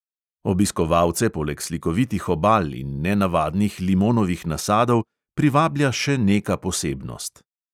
Obiskovalce poleg slikovitih obal in nenavadnih limonovih nasadov privablja še neka posebnost.